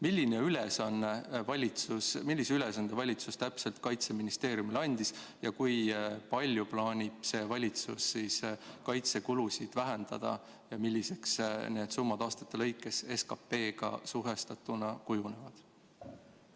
Äkki te siiski ütlete, millise ülesande valitsus täpselt Kaitseministeeriumile andis, kui palju plaanib see valitsus kaitsekulusid vähendada ja milliseks need summad aastate lõikes SKP‑ga suhestatuna kujunevad?